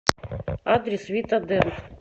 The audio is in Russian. адрес вита дент